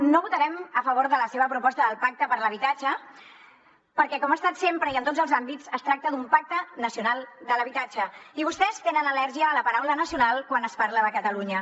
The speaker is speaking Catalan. no votarem a favor de la seva proposta del pacte per l’habitatge perquè com ha estat sempre i en tots els àmbits es tracta d’un pacte nacional de l’habitatge i vostès tenen al·lèrgia a la paraula nacional quan es parla de catalunya